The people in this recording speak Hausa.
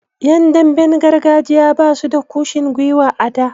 Yan damben gargajiya basu da kushin gwiwa a da.